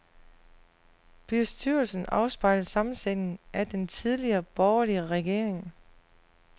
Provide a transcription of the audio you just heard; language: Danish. Bestyrelsen afspejler sammensætningen af den tidligere borgerlige regering.